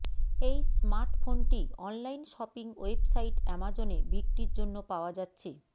এই স্মার্টফোনটি online shopping website অ্যামাজনে বিক্রির জন্য পাওয়া যাচ্ছে